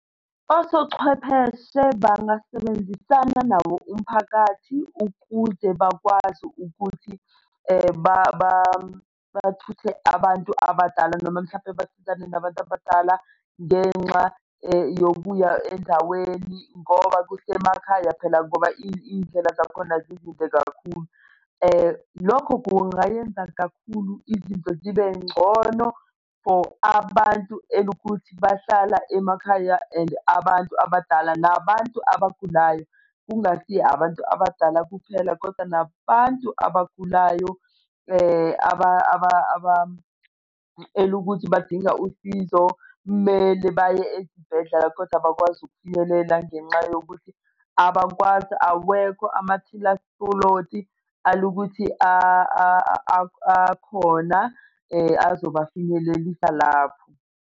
Osochwepheshe bangasebenzisana nawo umphakathi ukuze bakwazi ukuthi bathuthe abantu abadala noma mhlampe basizane nabantu abadala ngenxa yokuya endaweni ngoba kusemakhaya phela ngoba iy'ndlela zakhona zikude kakhulu. Lokho kungayenza kakhulu izinto zibe ngcono for abantu elukuthi bahlala emakhaya and abantu abadala, nabantu abagulayo, kungasiye abantu abadala kuphela kodwa nabantu abagulayo, ukuthi badinga usizo mele baye ezibhedlela kodwa abakwazi ukufinyelela ngenxa yokuthi abakwazi awekho amathilansipholothi alukuthi akhona azobafinyelelise lapho.